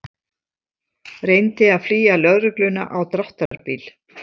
Reyndi að flýja lögregluna á dráttarbíl